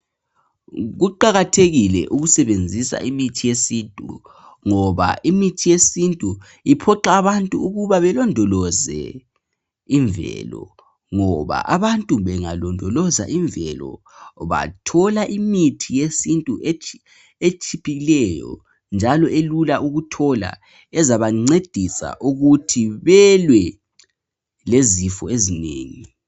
Kuqakatheke ukusebenzisa imithi yesintu ngoba imithi yesintu iphoqa abantu ukuthi balondoloze imvelo, ngoba abantu bengalondoloza imvelo bathola imithi yesintu etshiphileyo njalo elula ukuthola, ezabancedisa ukuthi belwe lezifo ezinengi